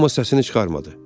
Amma səsini çıxarmadı.